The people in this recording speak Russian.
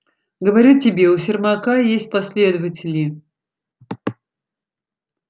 говорю тебе у сермака есть последователи